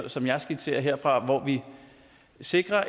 som jeg skitserer her sikrer